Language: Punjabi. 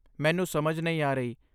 ਮੈਨੂੰ ਸਮਝ ਨਹੀਂ ਆ ਰਹੀ।